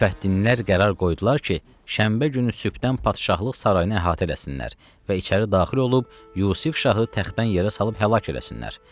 Müfəttinlər qərar qoydular ki, şənbə günü sübdən padşahlıq sarayını əhatə eləsinlər və içəri daxil olub Yusif şahı təxtdən yerə salıb həlak eləsinlər.